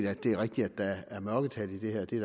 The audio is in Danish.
at det er rigtigt at der er mørketal i det her det er